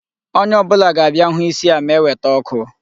Onye ọ bụla ga-abịa hụ isi a ma eweta ọkụ